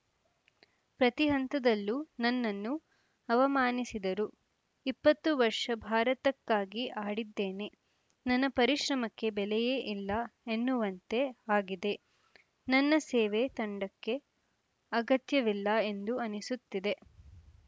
ಪ್ರತಿ ಹಂತದಲ್ಲೂ ನನ್ನನ್ನು ಅವಮಾನಿಸಿದರು ಇಪ್ಪತ್ತು ವರ್ಷ ಭಾರತಕ್ಕಾಗಿ ಆಡಿದ್ದೇನೆ ನನ್ನ ಪರಿಶ್ರಮಕ್ಕೆ ಬೆಲೆಯೇ ಇಲ್ಲ ಎನ್ನುವಂತೆ ಆಗಿದೆ ನನ್ನ ಸೇವೆ ತಂಡಕ್ಕೆ ಅಗತ್ಯವಿಲ್ಲ ಎಂದು ಅನಿಸುತ್ತಿದೆ